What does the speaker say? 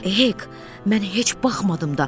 Hek, mən heç baxmadım da.